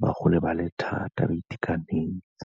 ba gole ba le thata, ba itekanetse.